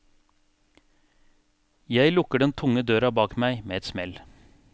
Jeg lukker den tunge døra bak meg med et smell.